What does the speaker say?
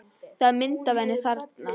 Það er mynd af henni þarna.